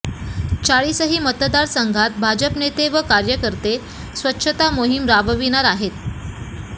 चाळीसही मतदारसंघात भाजपनेते व कार्यकर्ते स्वच्छता मोहिम राबविणार आहेत